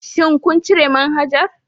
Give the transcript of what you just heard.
Shin kun cire manhajar